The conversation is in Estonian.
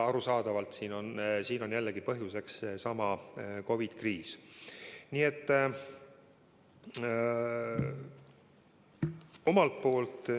Arusaadavalt on siin jällegi põhjuseks seesama COVID-i kriis.